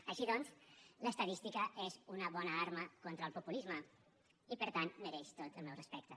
així doncs l’estadística és una bona arma contra el populisme i per tant mereix tot el meu respecte